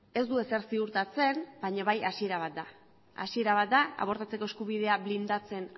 ez du ezer ziurtatzen baina hasiera bat da hasiera bat da abortatzeko eskubidea blindatzen